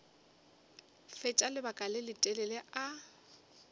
fetša lebaka le letelele a